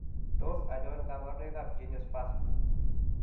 Tos achon kabarunaik ab Geniospasm ?